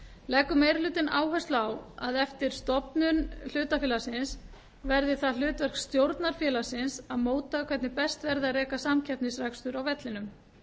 leggur meiri hlutinn áherslu á að eftir stofnun hlutafélagsins verði það hlutverk stjórnar félagsins að móta hvernig best verði að reka samkeppnisrekstur á vellinum